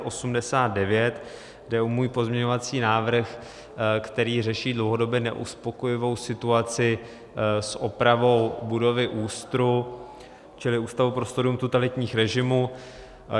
Jde o můj pozměňovací návrh, který řeší dlouhodobě neuspokojivou situaci s opravou budovy ÚSTR, čili Ústavu pro studium totalitních režimů.